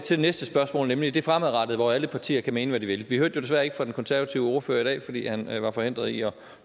det næste spørgsmål nemlig det fremadrettede hvor alle partier kan mene hvad de vil vi hørte jo desværre ikke fra den konservative ordfører i dag fordi han var forhindret i at